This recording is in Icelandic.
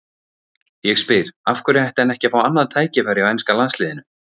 Ég spyr: Af hverju ætti hann ekki að fá annað tækifæri hjá enska landsliðinu?